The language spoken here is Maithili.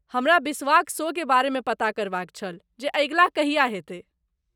हमरा बिश्वाक शो के बारेमे पता करबाक छल जे अगिला कहिया हेतै।